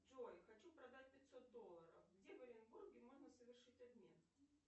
джой хочу продать пятьсот долларов где в оренбурге можно совершить обмен